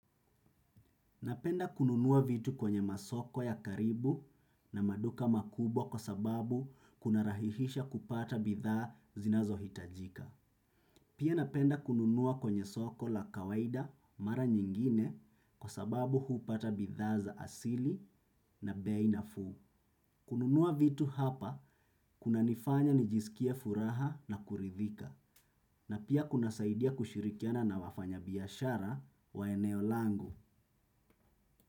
Napenda kununua vitu kwenye masoko ya karibu na maduka makubwa kwa sababu kuna rahihisha kupata bidhaa zinazo hitajika. Pia napenda kununua kwenye soko la kawaida mara nyingine kwa sababu hupata bidhaa za asili na bei nafuu. Kununua vitu hapa kuna nifanya nijisikie furaha na kuridhika na pia kuna saidia kushirikiana na wafanyabiashara wa eneo langu.